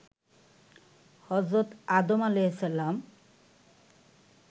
হজরত আদম আ.